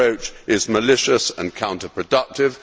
This approach is malicious and counter productive.